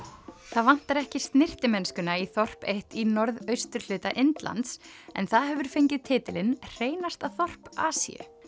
það vantar ekki snyrtimennskuna í þorp eitt í norðausturhluta Indlands en það hefur fengið titilinn hreinasta þorp Asíu